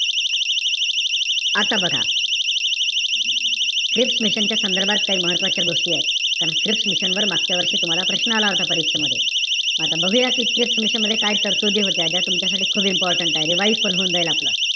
आता बघा. Cripps mission च्या संदर्भात काही महत्वाच्या गोष्टी आहेत. कारण क्रिप्स मिशन वर मागच्या वर्षी तुम्हाला प्रश्न आला होता परीक्षेमध्ये. म आता बघूया कि क्रिप्स मिशन मध्ये काय तरतुदी होत्या. ज्या तुमच्यासाठी खूप important आहेत. revise पण होऊन जाईल आपलं.